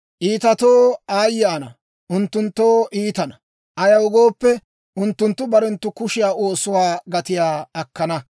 Iitatoo aayye ana! Unttunttoo iitana; ayaw gooppe, unttunttu barenttu kushiyaa oosuwaa gatiyaa akkana.